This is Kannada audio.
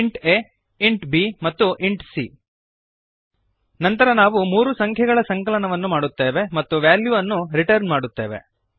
ಇಂಟ್ ಆ ಇಂಟ್ b ಮತ್ತು ಇಂಟ್ c ನಂತರ ನಾವು ಮೂರು ಸಂಖ್ಯೆಗಳ ಸಂಕಲನವನ್ನು ಮಾಡುತ್ತೇವೆ ಮತ್ತು ವ್ಯಾಲ್ಯುವನ್ನು ರಿಟರ್ನ್ ಮಾಡುತ್ತೇವೆ